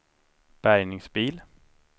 bärgningsbil